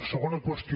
segona qüestió